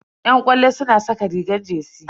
Yan ƙwallo suna saka rigar jersey.